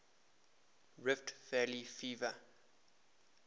rift valley fever